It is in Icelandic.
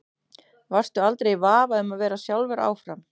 Varstu aldrei í vafa um að vera sjálfur áfram?